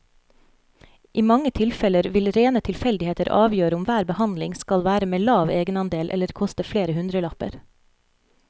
I mange tilfeller vil rene tilfeldigheter avgjøre om hver behandling skal være med lav egenandel eller koste flere hundrelapper.